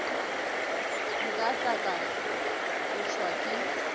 nka tla ka tšhošwa ke